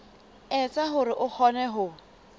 etsa hore a kgone ho